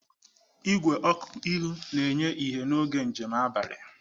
Igwe ọkụ ihu na-enye ìhè n'oge njem abalị.